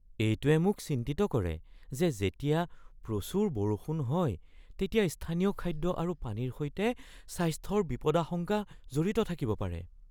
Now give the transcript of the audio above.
এইটোৱে মোক চিন্তিত কৰে যে যেতিয়া প্ৰচুৰ বৰষুণ হয় তেতিয়া স্থানীয় খাদ্য আৰু পানীৰ সৈতে স্বাস্থ্যৰ বিপদাশংকা জড়িত থাকিব পাৰে।